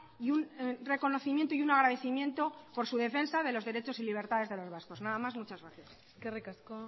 y un reconocimiento y un agradecimiento por su defensa de los derechos y libertades de los vascos nada más muchas gracias eskerrik asko